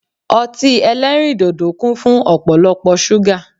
Ọtí eléríndòdò kún fún ọ̀pọ̀lọpọ̀ ṣúgà